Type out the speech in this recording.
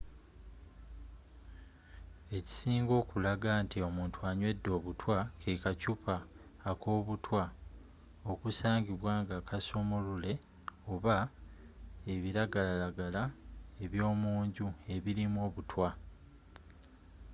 ekisinga okulaga nti omuntu anywedde obutwa ke kaccupa akobutwa okusangibwa nga kasumulule oba ebiragalagala ebyomunju ebirimu obutwa